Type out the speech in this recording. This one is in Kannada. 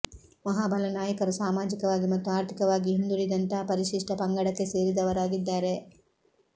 ಮಹಾಬಲ ನಾಯ್ಕರು ಸಾಮಾಜಿಕವಾಗಿ ಮತ್ತು ಆರ್ಥಿಕವಾಗಿ ಹಿಂದುಳಿದಂತಹ ಪರಿಶಿಷ್ಟ ಪಂಗಡಕ್ಕೆ ಸೇರಿದವರಾಗಿದ್ದಾರೆ